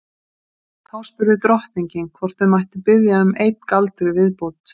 Þá spurði drottningin hvort þau mættu biðja um einn galdur í viðbót.